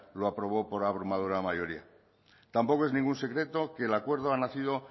lo aprobó por abrumadora mayoría tampoco es ningún secreto que el acuerdo ha nacido